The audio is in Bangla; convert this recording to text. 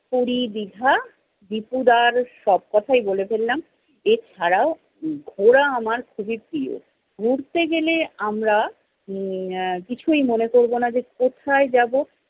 পুরী, দীঘা, ত্রিপুরার সব কথাই বলে ফেললাম। এছাড়াও ঘোরা আমার খুবই প্রিয়। ঘুরতে গেলে আমরা উম আহ কিছুই মনে করবো না যে কোথায় যাবো।